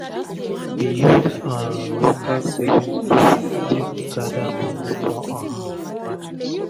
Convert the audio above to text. she dey use um local saving group take gada moni for um emergency